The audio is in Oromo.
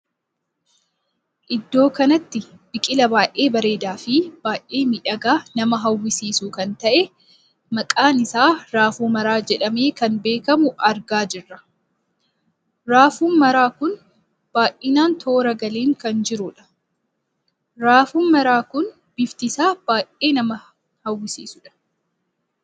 Iddoo kanatti biqilaa baay'ee bareedaa Fi baay'ee miidhagaa nama hawwisuu kan tahee maqaan isaa raafuu maraa jedhamee kan beekamuu argaa jirra. raafuun maraan kun baay'inaan tora galeem kan jiruudha. raafuu maraan kun bifti isaa kan baay'ee nama hawwisiisuudha